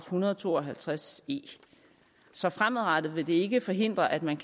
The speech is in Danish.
hundrede og to og halvtreds e så fremadrettet vil det ikke forhindre at man